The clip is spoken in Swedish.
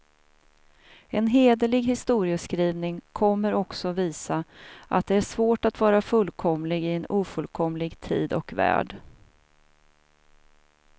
En hederlig historieskrivning kommer också visa, att det är svårt att vara fullkomlig i en ofullkomlig tid och värld.